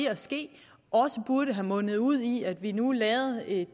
at ske også burde have mundet ud i at vi nu lavede en